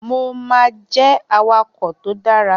Mo máa jẹ́ awakọ̀ tó dára